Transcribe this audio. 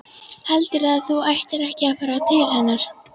Heldurðu að þú ættir ekki að fara til hennar?